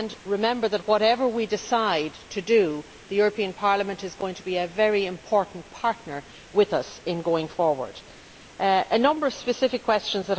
Remember that whatever we decide to do, the European Parliament is going to be a very important partner with us in going forward. I was asked a number of specific questions.